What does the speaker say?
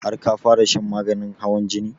Har ka fara shan maganin hawan jinin?